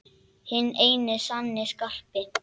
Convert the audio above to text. Hinn eini sanni Skarpi!